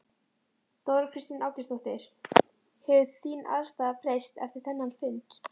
Þóra Kristín Ásgeirsdóttir: Hefur þín afstaða breyst eftir þennan fund?